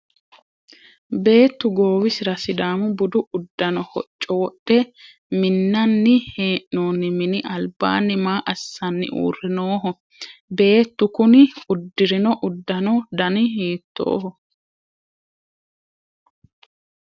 beettu goowisira sidaamu budu uddano hocco wodhe minnanni hee'noonni mini albaanni maa assanni uurre nooho? beettu kuni uddirino uddano dani hiittooho?